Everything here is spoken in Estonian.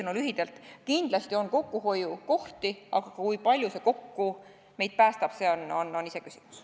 Lühidalt, kindlasti on kokkuhoiukohti, aga kui palju see meid päästab, on iseküsimus.